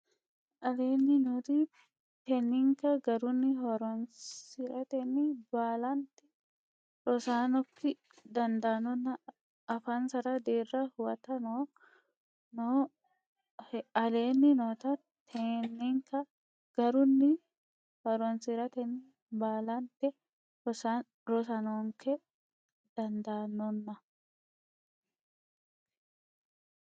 Aleenni noo tekinikka garunni horonsi ratenni baalante rosaanokki dandoonna afansa deerra huwata noohe Aleenni noo tekinikka garunni horonsi ratenni baalante rosaanokki dandoonna.